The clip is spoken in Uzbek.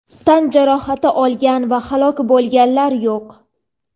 Tan jarohati olganlar va halok bo‘lganlar yo‘q.